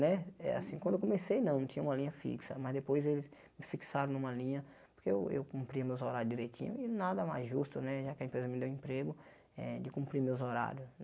Né é assim quando eu comecei não, não tinha uma linha fixa, mas depois eles me fixaram numa linha que eu cumpria meus horários direitinho e nada mais justo né, já que a empresa me deu emprego eh, de cumprir meus horários.